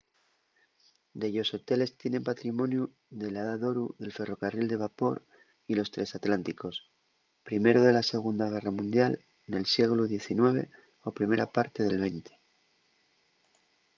dellos hoteles tienen patrimoniu de la edá d’oru del ferrocarril de vapor y los tresatlánticos; primero de la segunda guerra mundial nel sieglu xix o primera parte del xx